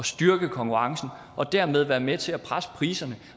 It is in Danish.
styrke konkurrencen og dermed være med til at presse priserne